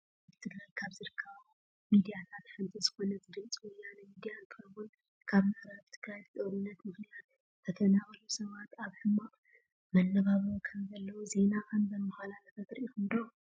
ኣብ ትግራይ ካብ ዝርከባ ሚዳታት ሓንቲ ዝኮነት ድምፂ ወያነ ሚድያ እንትከውን ካብ ምዕራብ ትግራይ ብጦርነት ምክንያት ዝተፈናቀሉ ሰባት ኣብ ሕማቅ መነባብሮ ከምዘለው ዜና ከም ዘማሓላለፈት ሪኢኩም ዶ?